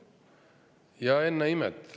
Ja ennäe imet!